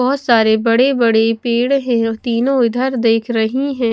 बहोत सारे बड़े बड़े पेड़ है तीनों इधर देख रही है।